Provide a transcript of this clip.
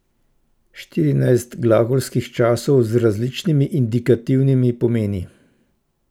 Štirinajst glagolskih časov z različnimi indikativnimi pomeni.